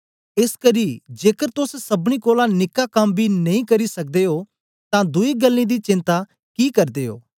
एसकरी जेकर तोस सबनी कोलां निक्का कम्म बी नेई करी सकदे ओ तां दुई गल्लें दी चेन्ता कि करदे ओ